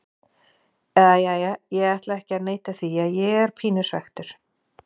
Eða jæja, ég ætla ekki að neita því að ég er pínu svekktur.